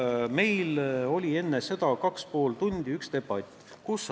Meil oli enne seda kaks ja pool tundi debatt.